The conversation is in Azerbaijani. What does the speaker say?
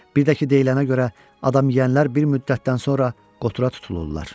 Bir də ki, deyilənə görə adam yeyənlər bir müddətdən sonra qotura tutulurlar.